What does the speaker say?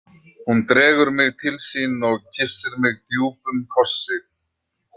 Hún dregur mig til sín og kyssir mig djúpum kossi.